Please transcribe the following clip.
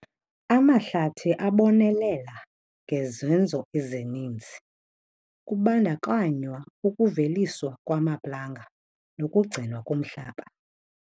Amahlathi abonelela ngezenzo ezininzi kubandakanywa ukuveliswa kwamaplanga nokugcinwa komhlaba.